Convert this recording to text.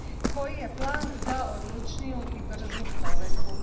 Koji je plan za odlučniju i bržu provedbu?